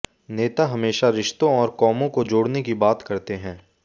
नेता हमेशा रिश्तों और कौमों को जोड़ने की बात करते हैं